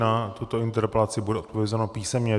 Na tuto interpelaci bude odpovězeno písemně.